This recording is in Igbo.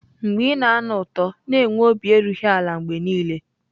mgbe ị na-anụ ụtọ, na-enwe obi erughị ala mgbe niile.